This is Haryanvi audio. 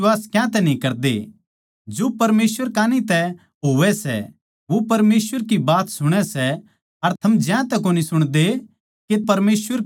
जो परमेसवर कान्ही तै होवै सै वो परमेसवर की बात सुणै सै अर थम ज्यांतै कोनी सुणदे के परमेसवर की ओड़ तै कोनी सो